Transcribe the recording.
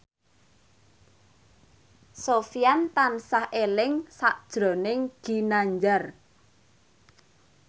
Sofyan tansah eling sakjroning Ginanjar